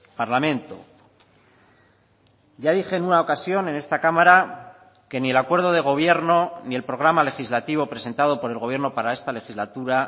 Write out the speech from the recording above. parlamento ya dije en una ocasión en esta cámara que ni el acuerdo de gobierno ni el programa legislativo presentado por el gobierno para esta legislatura